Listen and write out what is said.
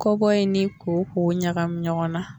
Kɔ bɔ in ni koko ɲagamin ɲɔgɔn na.